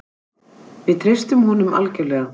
Við treystum honum algjörlega.